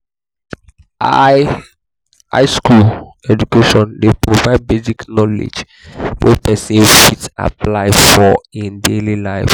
high high school education de provide basic knowledge wey persin fit apply for in daily life